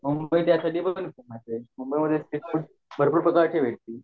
मुंबई त्यासाठी पण फेमस हाये मुंबई मध्ये स्ट्रीट फूड भरपुर प्रकारचे भेटतील